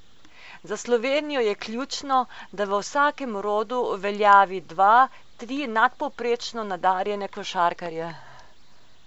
Za Slovenijo je ključno, da v vsakem rodu uveljavi dva, tri nadpovprečno nadarjene košarkarje.